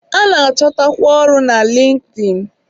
A na-achọtakwa ọrụ na Linkin.